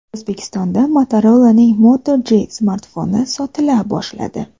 O‘zbekistonda Motorola’ning Moto G smartfoni sotila boshladi.